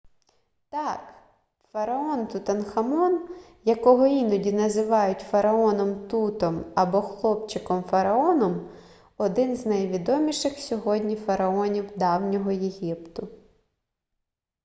так фараон тутанхамон якого іноді називають фараоном тутом або хлопчиком-фараоном - один з найвідоміших сьогодні фараонів давнього єгипту